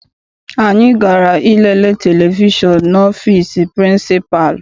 Anyị gara I lele televishọn n'ọfịịsi pịrịnsịpalụ.